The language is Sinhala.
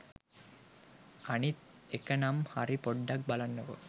අනිත් එකනම් හරි පොඩ්ඩක් බලන්නකෝ